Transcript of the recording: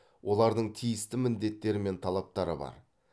олардың тиісті міндеттері мен талаптары бар